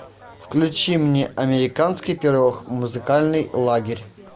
включи мне американский пирог музыкальный лагерь